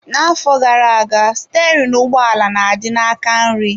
N'afọ gara aga, sterini ụgbọala na-adị n'aka nri.